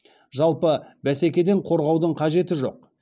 жалпы бәсекеден қорғаудың қажеті жоқ